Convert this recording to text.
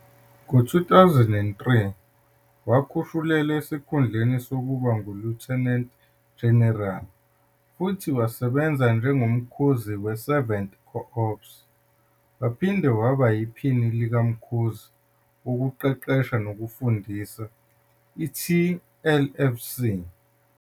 Ngo-2003, wakhushulelwa esikhundleni sokuba nguLieutenant General futhi wasebenza njengoMkhuzi we-7th Corps waphinde waba yiPhini likaMkhuzi Wokuqeqesha Nokufundisa, iTLFC.